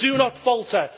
Do not falter.